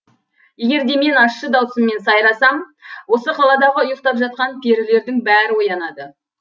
егерде мен ащы даусыммен сайрасам осы қаладағы ұйықтап жатқан перілердің бәрі оянады